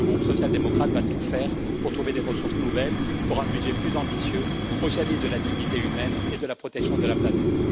Le groupe social démocrate va tout faire pour trouver des ressources nouvelles pour un budget plus ambitieux au service de la dignité humaine et de la protection de la planète.